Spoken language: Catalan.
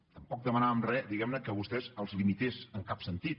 tampoc demanàvem re diguem ne que a vostès els limités en cap sentit